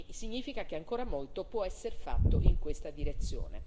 Significa che ancora molto può esser fatto in questa direzione.